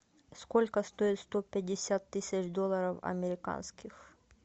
сколько стоит сто пятьдесят тысяч долларов американских